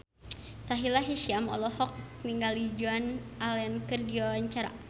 Sahila Hisyam olohok ningali Joan Allen keur diwawancara